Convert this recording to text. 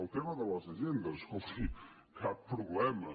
el tema de les agendes escolti cap problema